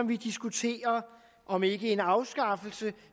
vi diskuterer om ikke en afskaffelse